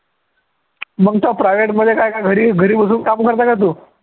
मग तो private मध्ये काय घरी घरी बसून काम करतो का तू